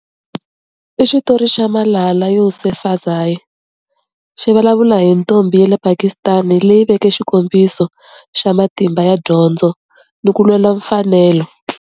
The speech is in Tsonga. I xitori xa Malala Yousafzai, xi vulavula hi ntombi ya le Pakistan leyi veke xikombiso xa matimba ya dyondzo ni ku lwela mfanelo.